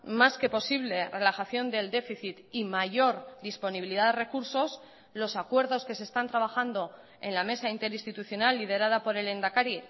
más que posible relajación del déficit y mayor disponibilidad de recursos los acuerdos que se están trabajando en la mesa interinstitucional liderada por el lehendakari